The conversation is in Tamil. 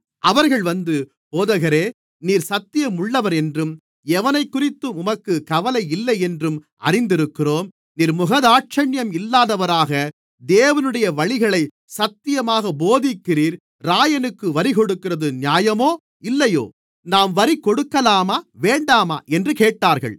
அவர்கள் வந்து போதகரே நீர் சத்தியமுள்ளவர் என்றும் எவனைக்குறித்தும் உமக்குக் கவலையில்லை என்றும் அறிந்திருக்கிறோம் நீர் முகதாட்சிணியம் இல்லாதவராக தேவனுடைய வழிகளைச் சத்தியமாகப் போதிக்கிறீர் இராயனுக்கு வரிகொடுக்கிறது நியாயமோ இல்லையோ நாம் வரி கொடுக்கலாமா வேண்டாமா என்று கேட்டார்கள்